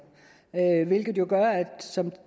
hvilket jo gør som